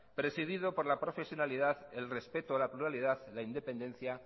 presidido por la profesionalidad el respeto a la pluralidad la independencia